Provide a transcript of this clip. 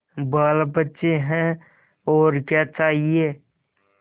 बालबच्चे हैं और क्या चाहिए